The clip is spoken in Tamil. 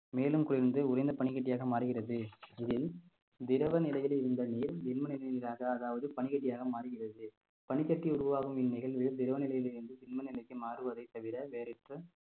மேலும் குளிர்ந்து உறைந்த பனிக்கட்டியாக மாறுகிறது இதில் திரவ நிலையில் இருந்த நீர் திண்ம நிலை நீராக அதாவது பனிக்கட்டியாக மாறுகிறது பனிக்கட்டி உருவாகும் இந்நிகழ்வுகள் திரவ நிலையில் இருந்து திண்மநிலைக்கு மாறுவதைத் தவிர வேறற்ற